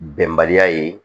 Bɛnbaliya ye